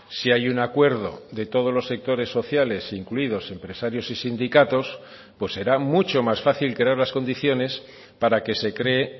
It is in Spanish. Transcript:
si hay un acuerdo de todos los sectores sociales incluidos empresarios y sindicatos pues será mucho más fácil crear las condiciones para que se cree